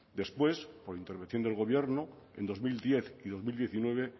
después por intervención del gobierno en dos mil diez y dos mil diecinueve